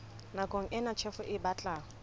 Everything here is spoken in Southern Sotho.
nakong ena tjhefo e batla